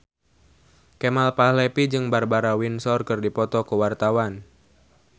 Kemal Palevi jeung Barbara Windsor keur dipoto ku wartawan